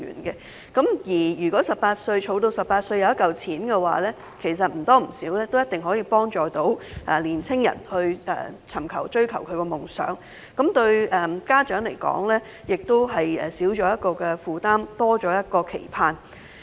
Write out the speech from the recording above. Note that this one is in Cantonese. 到了他們18歲時，便會儲蓄到一筆錢，或多或少可以幫助年青人追求夢想，而家長亦會少一個負擔，多一個期盼。